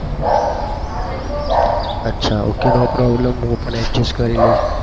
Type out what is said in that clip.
અચ્છા ok no problem હું પણ adjust કરી લઈશ.